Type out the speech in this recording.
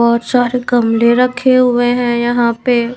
बहुत सारे कमले रखे हुए हैं यहां पे --